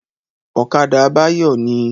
Ọ̀kadà Báyọ̀ ní